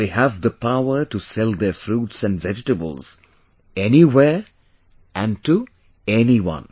They have the power to sell their fruits and vegetables, anywhere and to anyone